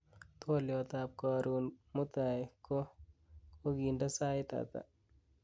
twolyot ab korun mutai ko koginde sait ata